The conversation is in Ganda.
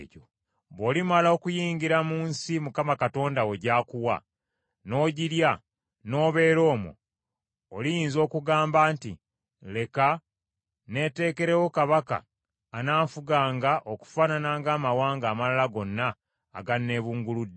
Bw’olimala okuyingira mu nsi Mukama Katonda wo gy’akuwa, n’ogirya, n’obeera omwo, oliyinza okugamba nti, “Leka neeteekerewo kabaka ananfuganga okufaanana ng’amawanga amalala gonna aganneebunguludde;”